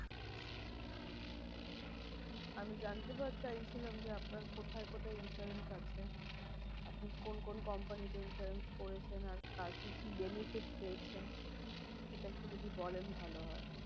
আমি জানতে চাইছিলাম যে আপনার কোথায় কোথায় insurance আছে? আপনি কোন কোন company তে insurance করেছেন? আর কি কি benefit পেয়েছেন? সেটা একটু যদি বলেন ভালো হয়।